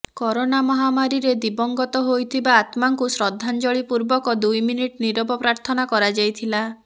corona ମହାମାରୀରେ ଦିବଂଗତ ହୋଇଥିବା ଆତ୍ମାଙ୍କୁ ଶ୍ରଦ୍ଧାଞ୍ଜଳି ପୂର୍ବକ ଦୁଇମିନିଟ ନୀରବ ପ୍ରାର୍ଥନା କରାଯାଇଥିଲା